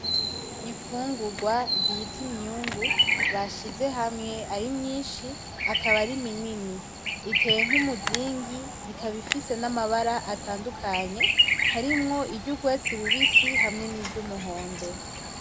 Imfungurwa bita imyungu bashize hamwe, arimyinshi akaba ari minini .Iteye nk'umuzingi ikaba ifise amabara atandukanye, harimwo iry'urwatsi rubisi hamwe n'iryumuhondo.